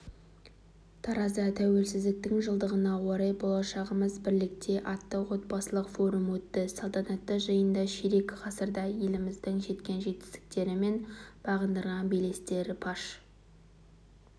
таразда тәуелсіздіктің жылдығына орай болашағымыз бірлікте атты облыстық форум өтті салтанатты жиында ширек ғасырда еліміздің жеткен жетістіктері мен бағындырған белестері паш